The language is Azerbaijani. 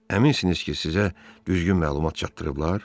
Əminsiniz ki, sizə düzgün məlumat çatdırıblar?